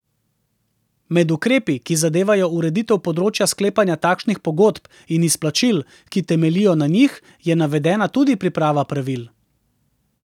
Med ukrepi, ki zadevajo ureditev področja sklepanja takšnih pogodb in izplačil, ki temeljijo na njih, je navedena tudi priprava pravil.